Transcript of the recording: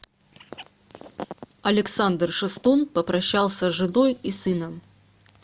александр шестун попрощался с женой и сыном